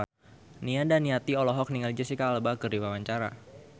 Nia Daniati olohok ningali Jesicca Alba keur diwawancara